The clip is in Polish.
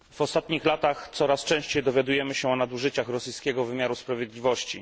W ostatnich latach coraz częściej dowiadujemy się o nadużyciach rosyjskiego wymiaru sprawiedliwości.